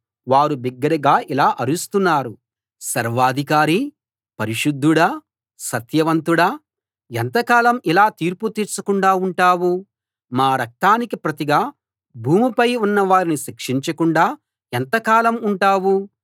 వారు బిగ్గరగా ఇలా అరుస్తున్నారు సర్వాధికారీ పరిశుద్ధుడా సత్యవంతుడా ఎంతకాలం ఇలా తీర్పు తీర్చకుండా ఉంటావు మా రక్తానికి ప్రతిగా భూమిపై ఉన్నవారిని శిక్షించకుండా ఎంతకాలం ఉంటావు